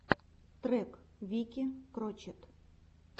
трек вики крочет